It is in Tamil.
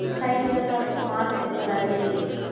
side லாம் அந்த smart city மாதிரி